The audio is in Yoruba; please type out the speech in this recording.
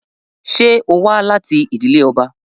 Ṣe o wa lati idile ọba?